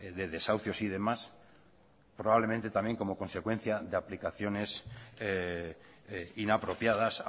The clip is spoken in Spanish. de desahucios y demás probablemente también como consecuencia de abdicaciones inapropiadas